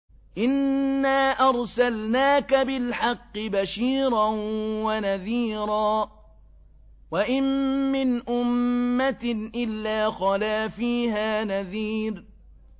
إِنَّا أَرْسَلْنَاكَ بِالْحَقِّ بَشِيرًا وَنَذِيرًا ۚ وَإِن مِّنْ أُمَّةٍ إِلَّا خَلَا فِيهَا نَذِيرٌ